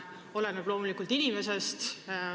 See oleneb loomulikult inimesest.